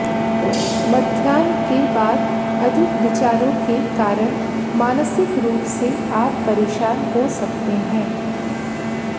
मध्याह्न के बाद अधिक विचारों के कारण मानसिक रूप से आप परेशान हो सकते हैं